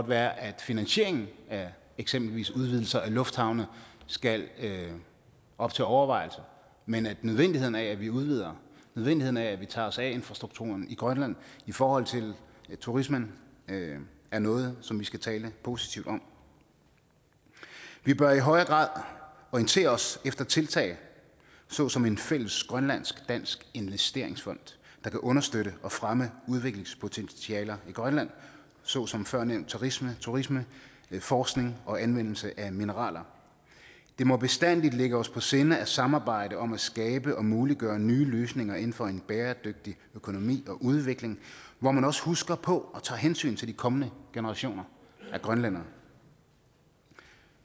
være at finansieringen af eksempelvis udvidelser af lufthavne skal op til overvejelse men at nødvendigheden af at vi udvider nødvendigheden af at vi tager os af infrastrukturen i grønland i forhold til turismen er noget som vi skal tale positivt om vi bør i højere grad orientere os efter tiltag såsom en fælles grønlandsk dansk investeringsfond der kan understøtte og fremme udviklingspotentialer i grønland såsom førnævnte turisme turisme forskning og anvendelse af mineraler det må bestandigt ligge os på sinde at samarbejde om at skabe og muliggøre nye løsninger inden for en bæredygtig økonomi og udvikling hvor man også husker på og tager hensyn til de kommende generationer af grønlændere i grønland